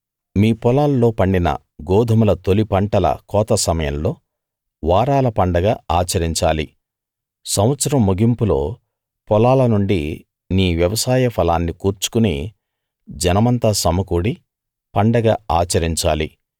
మీ పొలాల్లో పండిన గోదుమల తొలి పంటల కోత సమయంలో వారాల పండగ ఆచరించాలి సంవత్సరం ముగింపులో పొలాలనుండి నీ వ్యవసాయ ఫలాన్ని కూర్చుకుని జనమంతా సమకూడి పండగ ఆచరించాలి